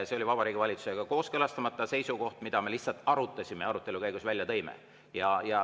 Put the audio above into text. See oli Vabariigi Valitsusega kooskõlastamata seisukoht, mida me arutasime ja arutelu käigus välja tõime.